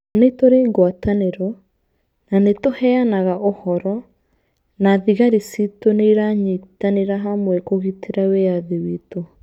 Nĩ tũrĩ ngwatanĩro, na nĩ tũheanaga ũhoro, na thigari ciitũ nĩ iranyitanĩra hamwe kũgitĩra wĩyathi witũ.